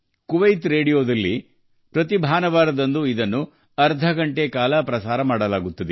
Kuwait ರೇಡಿಯೊದಲ್ಲಿ ಪ್ರತಿ ಭಾನುವಾರ ಅರ್ಧ ಗಂಟೆ ಪ್ರಸಾರವಾಗುತ್ತದೆ